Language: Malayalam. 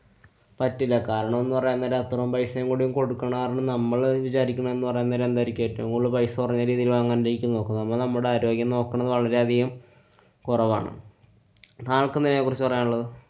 പറ്റില്ല. കാരണംന്നു പറയാന്‍ നേരം അത്രോം പൈസേം കൂടി കൊടുക്കണ കാരണം നമ്മള് വിചാരിക്കണത് ന്നു പറയാന്‍ നേരം എന്തായിരിക്കും ഏറ്റവും കൂടുതല് പൈസ കൊറഞ്ഞ രീതില് വാങ്ങാന്‍ നോക്കണ്. നമ്മളു നമ്മുടെ ആരോഗ്യം നോക്കണ വളരെയധികം കൊറവാണ്. താങ്കള്‍ക്കെന്താ ഇതിനെ കുറിച്ച് പറയാനുള്ളത്?